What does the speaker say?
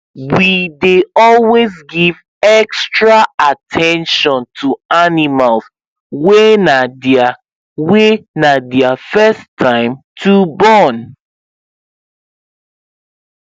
we dey always give extra at ten tion to animals wy na their wy na their first time to born